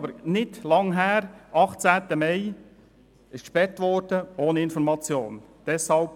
Es ist nicht lange her, als am 18. Mai 2018 ohne zu informieren gesperrt wurde.